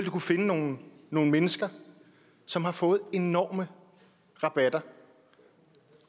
kunne finde nogle mennesker som har fået enorme rabatter